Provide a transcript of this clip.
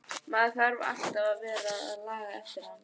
Maður þarf alltaf að vera að laga eftir hana.